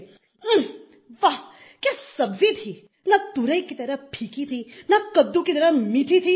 ऊंह वाह क्या सब्जी थी न तुरई की तरह फीकी थी न कददू की तरह मीठी थी